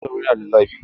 Cizon sauro yana da zafi.